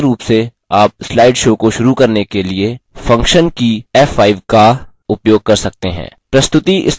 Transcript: वैकल्पिक रूप से आप slide show को शुरू करने के लिए function की f5 को उपयोग कर सकते हैं